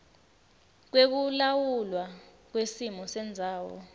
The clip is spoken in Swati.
lwekulawulwa kwesimo sendzawo